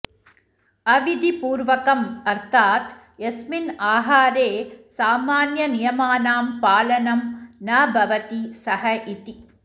अविधिपूर्वकम् अर्थात् यस्मिन् आहारे सामान्यनियमानां पालनं न भवति सः इति